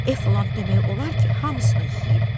Eflant demək olar ki, hamısını yeyib.